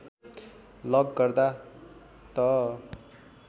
lock गर्दा त